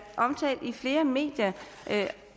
omtalt i flere medier